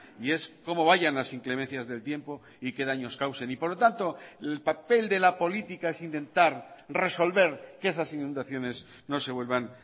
y es cómo vayan las inclemencias del tiempo y que daños causen y por lo tanto el papel de la política es intentar resolver que esas inundaciones no se vuelvan